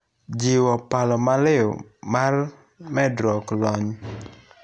Jiwo paro maliw mar medruok lony.